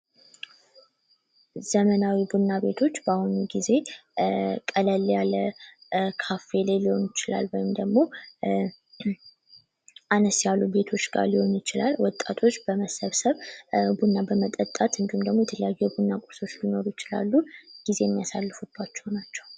ዘመናዊ ቡና ቤቶች በአሁኑ ጊዜ ቀለል ያለ ካፌ ሊሆን ይችላል ወይም ደግሞ አነስ ያሉ ቤቶች ጋ ሊሆን ይችላል ወጣቶች በመሰብሰብና በመጠጣት የየለያዩ የቡና ቁርሶች ሊኖሩ ይችላሉ ጊዜ የሚያሳልፉባቸው ናቸው።